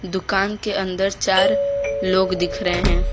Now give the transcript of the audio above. दुकान के अंदर चार लोग दिख रहे हैं।